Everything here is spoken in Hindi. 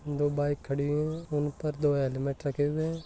दो बाइक खड़ी है ऊपर दो हैलमेट रखे है।